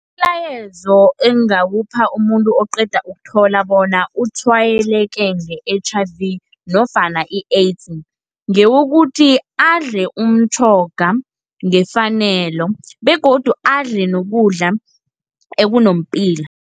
Umlayezo engingawupha umuntu oqeda ukuthola bona utshwayeleke nge-H_I_V nofana i-AIDS, ngewokuthi adle umtjhoga ngefanelo, begodu adle nokudla ekunepilo.